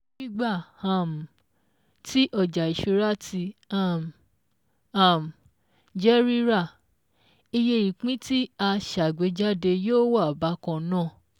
Nígbà um tí ọjà ìṣúra tí um um jẹ́ rírà, iye ìpín tí a sàgbéjáde yóò wà bákan náà